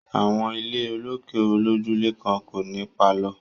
Àwọn ilé olókè olójúlé kan kò ní pálọ̀